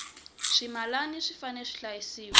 swimilana swi fanele swi hlayisiwa